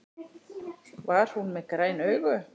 Var hún með græn augu?